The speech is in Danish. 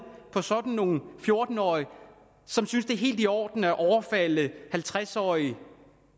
på sådan nogle fjorten årige som synes det er helt i orden at overfalde halvtreds årige